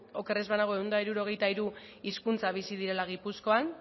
oker ez banago ehun eta hirurogeita hiru hizkuntza bizi direla gipuzkoan